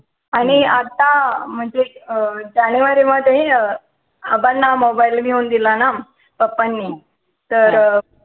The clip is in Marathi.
आणि आता म्हणजे जानेवारी मध्ये अं आबांना mobile घेऊन दिला ना पप्पानी तर